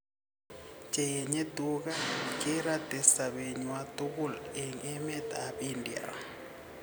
Che enye tuga kerate sobenywan tukul en emet ab India